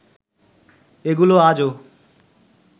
এগুলো আজও